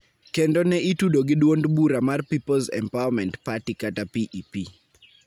kendo ne itudo gi duond bura mar Peoples' Empowerment Party (PEP)